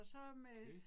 Okay